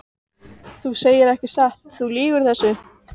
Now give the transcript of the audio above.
Þú segir ekki satt, þú lýgur þessu!